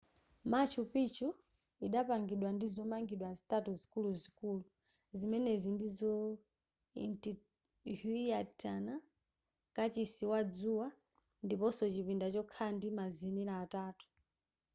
machu picchu idapangidwa ndi zomangidwa zitatu zikuluzikulu zimenezi ndizo intihuatana kachisi wa dzuwa ndiponso chipinda chokhala ndi mazenera atatu